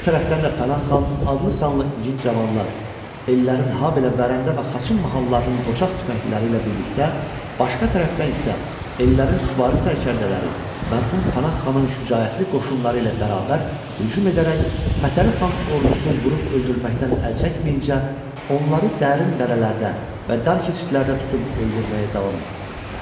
Bu tərəfdən də Pənah xan adlı-sanlı igid cavanlar, ellərin, habelə Vərəndə və Xaçın mahallarının qoçaq tüfəngliləri ilə birgə başqa tərəfdən isə ellərin süvari sərkərdələri, mərhum Pənah xanın şücaətli qoşunları ilə bərabər hücum edərək, Fətəli xan ordusu vurub öldürməkdən əl çəkməyincə, onları dərin dərələrdə və dar keçidlərdə tutub öldürməyə davam etdirdilər.